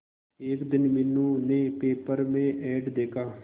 एक दिन मीनू ने पेपर में एड देखा